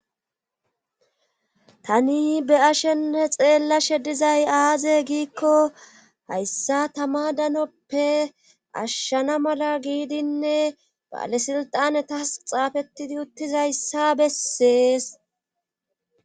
tani be ashene xeellashe dizay aaze giikko hayssa tama danoppe ashshana mala giidinne baalesilxane tas xaafettidi uttizayssa bessees